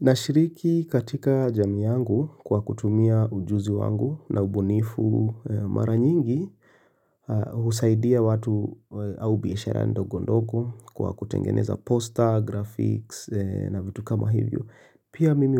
Na shiriki katika jamii yangu kwa kutumia ujuzi wangu na ubunifu mara nyingi husaidia watu au biashara ndogondogo kwa kutengeneza poster, graphics na vitu kama hivyo Pia mimi